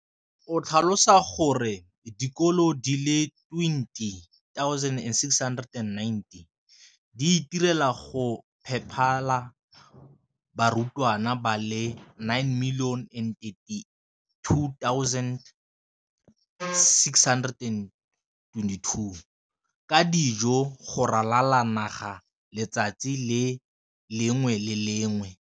o tlhalositse gore dikolo di le 20 619 di itirela le go iphepela barutwana ba le 9 032 622 ka dijo go ralala naga letsatsi le lengwe le le lengwe.